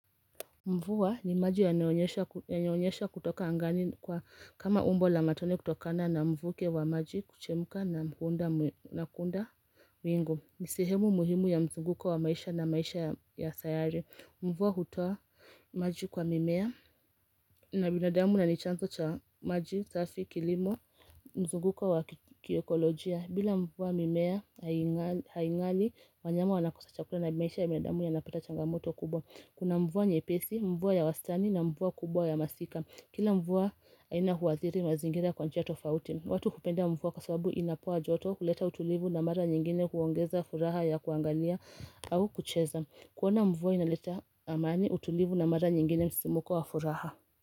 Mvua ni maji yanayonyesha kutoka angani kama umbo la matone kutokana na mvuke wa maji kuchemka na kunda mwingu ni sehemu muhimu ya mzunguko wa maisha na maisha ya sayari Mvua hutoa maji kwa mimea na binadamu na ni chanzo cha maji, safi, kilimo, mzunguko wa kiekolojia bila mvuwa mimea haingali wanyama wanakosa chakula na maisha ya binadamu yanapata changamoto kubwa Kuna mvua nyepesi, mvua ya wastani na mvua kubwa ya masika Kila mvua aina huadhiri mazingira kwa njia tofauti watu hupenda mvua kwa sababu inapoa joto huleta utulivu na mara nyingine huongeza furaha ya kuangalia au kucheza kuona mvua inaleta amani utulivu na mara nyingine msisimuko wa furaha.